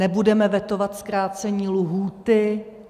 Nebudeme vetovat zkrácení lhůty.